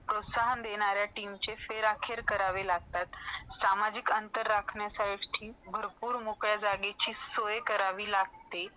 प्रोत्साहन देणाऱ्या टीमची फेराखे करावे लागतात सामाजिक अंतर राखण्यासाठी भरपूर मुख्या जाग्याची सोय करावी लागते